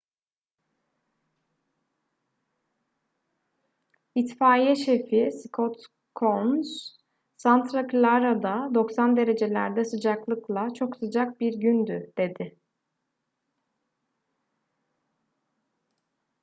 i̇tfaiye şefi scott kouns santa clara'da 90 derecelerde sıcaklıkla çok sıcak bir gündü dedi